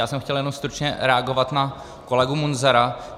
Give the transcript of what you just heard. Já jsem chtěl jenom stručně reagovat na kolegu Munzara.